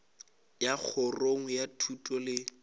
ya kgorong ya thuto le